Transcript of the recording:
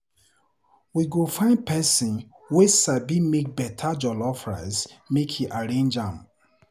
We go find pesin wey sabi make beta jollof rice make e arrange am.